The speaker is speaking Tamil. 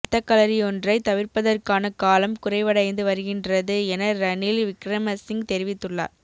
இரத்தக்களறியொன்றை தவிர்ப்பதற்கான காலம் குறைவடைந்து வருகின்றது என ரணில் விக்கிரமசிங்க தெரிவித்துள்ளார்